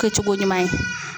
Kɛcogo ɲuman ye.